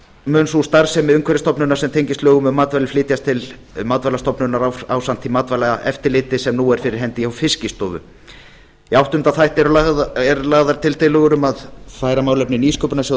mun sú starfsemi umhverfisstofnunar sem tengist lögum um matvæli flytjast til matvælastofnunar ásamt því matvælaeftirliti sem nú er fyrir hendi hjá fiskistofu í áttunda þætti eru tillögur um að færa málefni nýsköpunarsjóðs